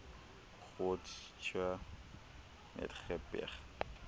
groote schuur netygerberg